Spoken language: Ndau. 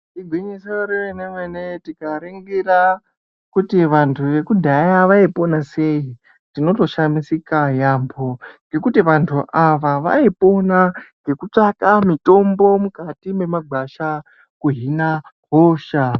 Igwinyiso remene mene tikaringira kuti vantu vekudhaya vaipona sei tinotoshamisika yambo ngekuti vantu ava vaipona ngekutsvaka mitombo mukati memagwasha kuhina hosha.